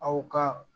Aw ka